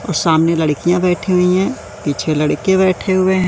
और सामने लड़कियां बैठी हुईं हैं पीछे लड़के बैठे हुएं हैं।